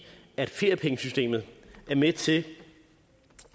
at feriepengesystemet er med til